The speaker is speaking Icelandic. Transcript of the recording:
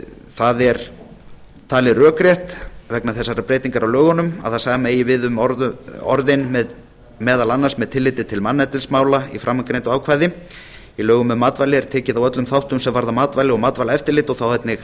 það er talið rökrétt vegna þessarar breytingar á lögunum að það sama eigi við um orðin meðal annars með tilliti til manneldismála í framangreindu ákvæði í lögum um matvæli er tekið á öllum þáttum sem varða matvæli og matvælaeftirlit og þá